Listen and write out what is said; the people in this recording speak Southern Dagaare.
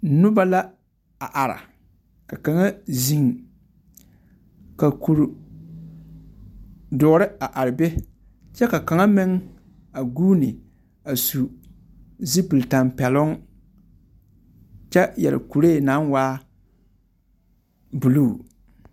Noba la a are, ka kaŋa zeŋe, ka kuri dõͻre a are be kyԑ ka kaŋa meŋ a guuni a su zupili tampԑloŋ kyԑ yԑre kuree naŋ waa buluu.